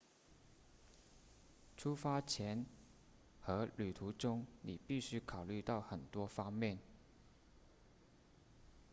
出发前和旅途中你必须考虑到很多方面